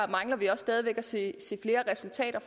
mangler vi også stadig væk at se flere resultater